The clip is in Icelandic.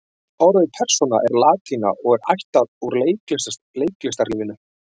orðið persóna er latína og er ættað úr leiklistarlífinu